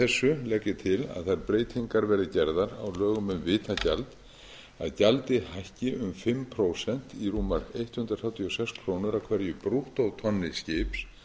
þessu legg ég til að þær breytingar verði gerðar á lögum vitagjald að gjaldið hækki um fimm prósent í rúmar hundrað þrjátíu og sex krónur af hverju brúttótonni skips